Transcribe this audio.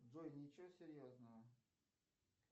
джой ничего серьезного